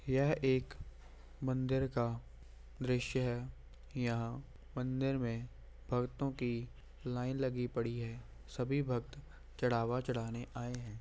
यह एक मंदिर का द्रश्य है यहाँ मंदिर में भक्तों की लाइन लगी पड़ी है सभी भक्त चढ़ाना चढ़ाने आये है।